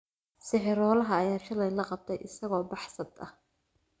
Sixiroolaha ayaa shalay la qabtay isagoo baxsad ah